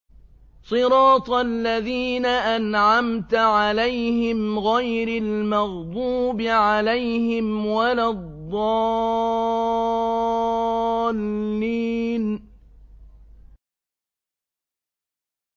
صِرَاطَ الَّذِينَ أَنْعَمْتَ عَلَيْهِمْ غَيْرِ الْمَغْضُوبِ عَلَيْهِمْ وَلَا الضَّالِّينَ